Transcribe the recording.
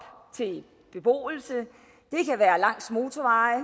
til beboelse det kan være langs motorveje